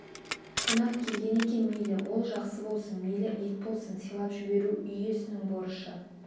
қонақ келген екен мейлі ол жақсы болсын мейлі ит болсын сыйлап жіберу үй иесінің борышы